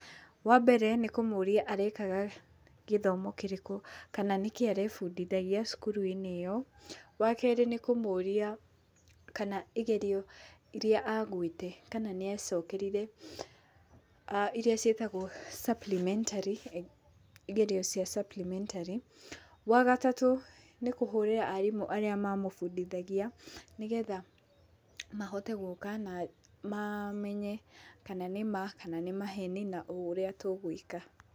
Wambere nĩ kũmũria arekaga gĩthomo kĩrĩkũ kana nĩkĩĩ arebundithagia cukuru-inĩ ĩyo. Wakerĩ nĩ kũmũria kana igerio iria agwĩte kana nĩacokerire iria ciĩtagwo supplementary igerio cia supplementary. Wagatarũ nĩ kũhũrĩra arimũ arĩa mamũbundithagia nĩgetha mahote gũka na mamenye kana nĩma kana nĩ maheni na ũrĩa tũgwĩka.